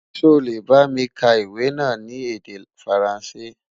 sọ lẹ bá mí ka iwè nà ní èdè faransé?